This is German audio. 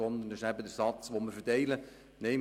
Diesen Satz verteilen wir.